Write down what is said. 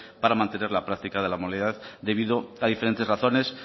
para mantener la práctica de la modalidad debido a diferentes razones